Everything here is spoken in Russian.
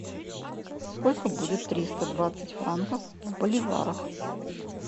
сколько будет триста двадцать франков в боливарах